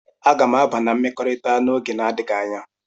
Aga m aba na mmekọrịta n'oge na-adịghị anya.